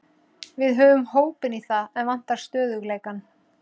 Við höfum hópinn í það, en vantar stöðugleikann.